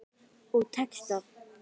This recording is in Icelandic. Og tekst það.